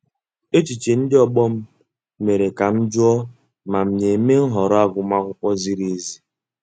Echiche ndị ọgbọ m mere ka m jụọ ma m na-eme nhọrọ agụmakwụkwọ ziri ezi.